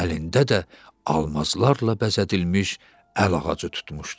Əlində də almazlarla bəzədilmiş əl ağacı tutmuşdu.